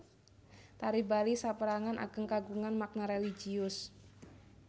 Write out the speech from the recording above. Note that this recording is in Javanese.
Tari Bali sapérangan ageng kagungan makna religius